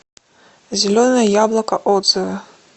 зеленое яблоко отзывы